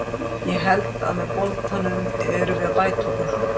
Ég held að með boltann erum við að bæta okkur.